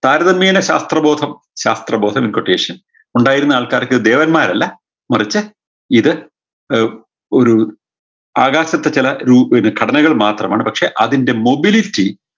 താരതമ്യേന ശാസ്ത്രബോധം ശാസ്ത്രബോധം equetation ഉണ്ടായിരുന്ന ആൾക്കാർക്ക് ദേവന്മാരല്ല മറിച്ച് ഇത് ഏർ ഒരു ആകാശത്ത് ചെല രൂ ഘടനകൾ മാത്രമാണ് പക്ഷെ അതിൻറെ mobility